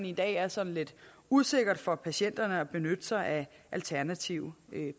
i dag er sådan lidt usikkert for patienterne at benytte sig af alternative